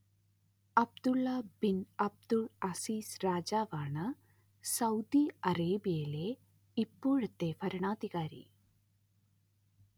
Abdulla bin Abdul Aziz രാജാവാണ്‌ Saudi അറേബ്യയിലെ ഇപ്പോഴത്തെ ഭരണാധികാരി